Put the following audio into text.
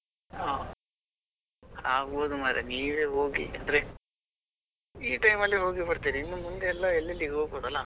ಹಾ ಆಗ್ಬೋದು ಮರ್ರೆ ನೀವೇ ಹೋಗಿ ಅಂದ್ರೆ ಈ time ಅಲ್ಲಿ ಹೋಗಿ ಬರ್ತೀರಿ ಇನ್ನು ಮುಂದೆ ಎಲ್ಲಾ ಎಲ್ಲೆಲ್ಲಿ ಹೋಗ್ಬೋದು ಅಲ್ಲ.